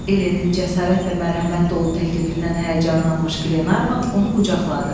Elenin cəsarət və mərhəmət dolu təklifindən həyəcanlanmış Glenarvan onu qucaqladı.